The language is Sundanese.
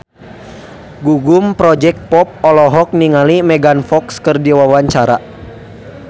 Gugum Project Pop olohok ningali Megan Fox keur diwawancara